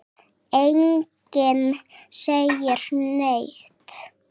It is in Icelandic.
Enginn segir neitt.